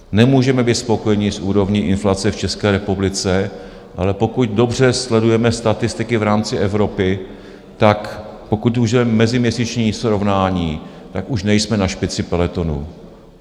Nemůžeme být spokojeni s úrovní inflace v České republice, ale pokud dobře sledujeme statistiky v rámci Evropy, tak pokud použijeme meziměsíční srovnání, tak už nejsme na špici peletonu.